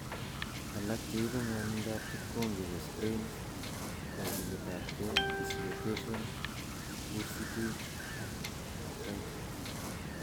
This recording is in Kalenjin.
Alak cheibu ng'wonindab kipkongi koo sprains, kokiletab kee, dislocations, bursitis ak athritis